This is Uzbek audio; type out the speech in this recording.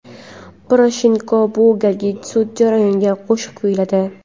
Poroshenko bu galgi sud jarayonida qo‘shiq kuyladi.